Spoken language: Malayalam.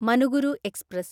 മനുഗുരു എക്സ്പ്രസ്